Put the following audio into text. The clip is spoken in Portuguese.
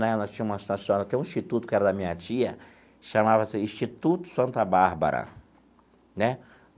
Né nós tínhamos uma, tem um instituto, que era da minha tia, que chamava-se Instituto Santa Bárbara né.